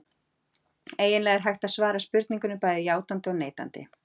Eiginlega er hægt að svara spurningunni bæði játandi og neitandi.